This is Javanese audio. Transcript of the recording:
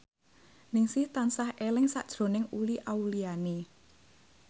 Ningsih tansah eling sakjroning Uli Auliani